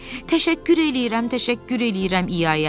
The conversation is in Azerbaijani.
Təşəkkür eləyirəm, təşəkkür eləyirəm İaya.